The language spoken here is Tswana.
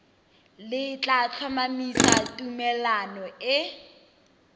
le tla tlhomamisa tumalano e